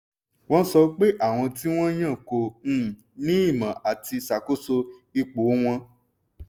wọ́n sọ pé àwọn tí wọ́n yàn kò um ní ìmọ̀ àti ṣàkóso ipò wọn.